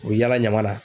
U bɛ yala ɲama na